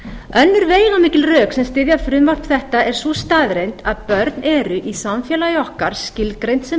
önnur veigamikil rök sem styðja frumvarp þetta er sú staðreynd að börn eru í samfélagi okkar skilgreind sem